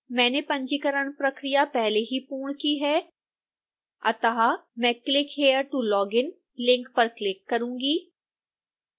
मैंने पंजीकरण प्रक्रिया पहले ही पूर्ण की है अतः मैं click here to login link पर क्लिक करूँगी